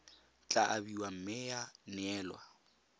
tla abiwa mme ya neelwa